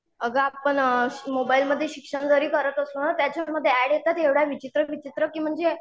अगं आपण मोबाईलमध्ये शिक्षण जरी करत असू ना त्याच्यामध्ये ऍड येतात एवढ्या विचित्र विचित्र की म्हणजे